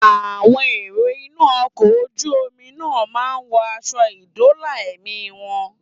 Àwọn èrò inú ọkọ̀ ojú omi náà máa wọ aṣọ ìdóòlà ẹ̀mí wọn